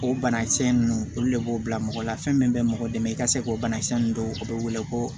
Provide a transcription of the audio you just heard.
O banakisɛ ninnu olu le b'o bila mɔgɔ la fɛn min bɛ mɔgɔ dɛmɛ i ka se k'o banakisɛ ninnu don o bɛ wele ko